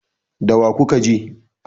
da wa kuka ke